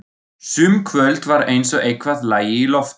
Sum kvöld var eins og eitthvað lægi í loftinu.